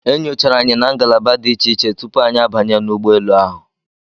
E nyochara anyi na ngalaba dị iche iche tupu anyị a banye n'ụgbọ elu ahụ.